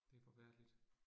Det forfærdeligt